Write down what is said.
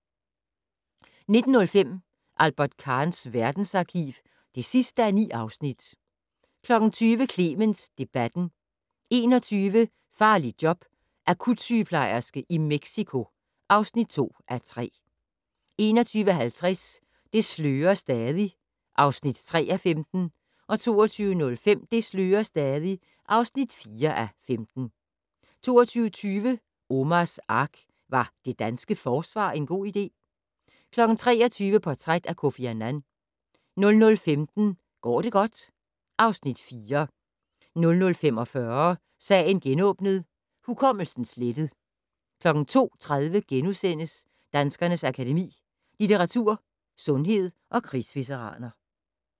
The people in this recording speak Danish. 19:05: Albert Kahns verdensarkiv (9:9) 20:00: Clement debatten 21:00: Farligt job - akutsygeplejerske i Mexico (2:3) 21:50: Det slører stadig (3:15) 22:05: Det slører stadig (4:15) 22:20: Omars Ark - Var det danske forsvar en god idé? 23:00: Portræt af Kofi Annan 00:15: Går det godt? (Afs. 4) 00:45: Sagen genåbnet: Hukommelsen slettet 02:30: Danskernes Akademi: Litteratur, Sundhed & Krigsveteraner *